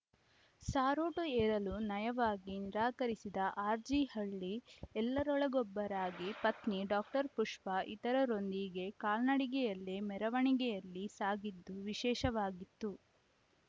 ಸಾರೋಟು ಏರಲು ನಯವಾಗಿ ನಿರಾಕರಿಸಿದ ಆರ್‌ಜಿಹಳ್ಳಿ ಎಲ್ಲರೊಳಗೊಬ್ಬರಾಗಿ ಪತ್ನಿ ಡಾಕ್ಟರ್ ಪುಷ್ಪಾ ಇತರರೊಂದಿಗೆ ಕಾಲ್ನಡಿಗೆಯಲ್ಲೇ ಮೆರವಣಿಗೆಯಲ್ಲಿ ಸಾಗಿದ್ದು ವಿಶೇಷವಾಗಿತ್ತು